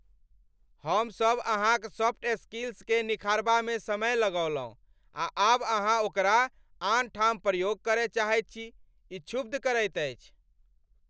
हमसभ अहाँक सॉफ्ट स्किल्सकेँ निखारबामे समय लगओलहुँ, आ आब अहाँ ओकरा आन ठाम प्रयोग करय चाहैत छी? ई क्षुब्ध करैत अछि।